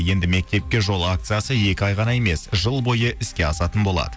енді мектепке жол акциясы екі ай ғана емес жыл бойы іске асатын болады